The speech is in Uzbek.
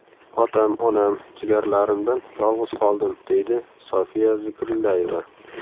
Otam-onam, jigarlarimdan yolg‘iz qoldim, deydi Sofiya Zikrillayeva.